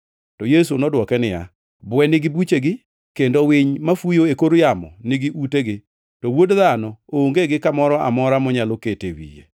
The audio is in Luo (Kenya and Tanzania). To Yesu nodwoke niya, “Bwe nigi buchegi kendo winy mafuyo e kor yamo nigi utegi, to Wuod Dhano onge gi kamoro amora monyalo kete wiye.”